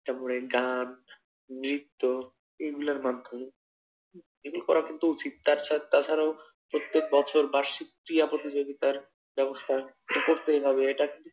তারপরে গান নৃত্য এগুলোর মাধ্যমে এগুলো করা কিন্তু উচিত তাছাড়াও প্রত্যেক বছর বার্ষিক ক্রীড়া প্রতিযোগিতার ব্যাবস্থা